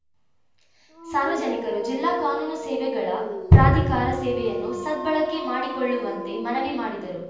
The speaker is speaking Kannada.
ಸಾರ್ವಜನಿಕರು ಜಿಲ್ಲಾ ಕಾನೂನು ಸೇವೆಗಳ ಪ್ರಾಧಿಕಾರ ಸೇವೆಯನ್ನು ಸದ್ಬಳಕೆ ಮಾಡಿಕೊಳ್ಳುವಂತೆ ಮನವಿ ಮಾಡಿದರು